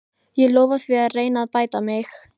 Ég lofa því að reyna að bæta mig.